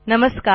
नमस्कार